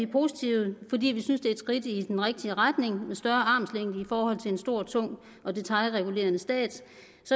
positive fordi vi synes at det er et skridt i den rigtige retning med større armslængde i forhold til en stor og tung og detailregulerende stat